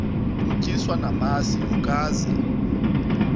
utyiswa namasi ukaze